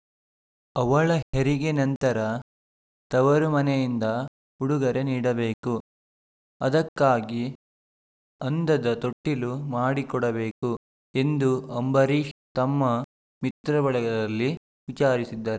ಅವಳ ಹೆರಿಗೆ ನಂತರ ತವರು ಮನೆಯಿಂದ ಉಡುಗೊರೆ ನೀಡಬೇಕು ಅದಕ್ಕಾಗಿ ಅಂದದ ತೊಟ್ಟಿಲು ಮಾಡಿಕೊಡಬೇಕು ಎಂದು ಅಂಬರೀಷ್‌ ತಮ್ಮ ಮಿತ್ರ ಬಳಗದಲ್ಲಿ ವಿಚಾರಿಸಿದ್ದರು